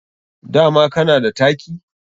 Dama kana da taki?